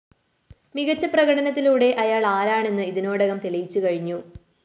മികച്ച പ്രകടനത്തിലൂടെ അയാള്‍ ആരാണെന്ന് ഇതിനോടകം തെളിയിച്ചു കഴിഞ്ഞു